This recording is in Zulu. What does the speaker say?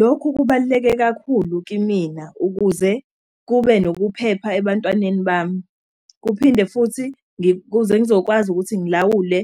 Lokhu kubaluleke kakhulu kimina ukuze kube nokuphepha ebantwanini bami. Kuphinde futhi kuze ngizokwazi ukuthi ngilawule